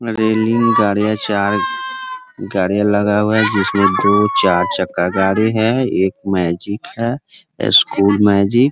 Railing गाड़ियां चार गाड़ियां लगा हुआ है। जिसमे दो-चार चक्का गाड़ी है। एक मैजिक है। School magic.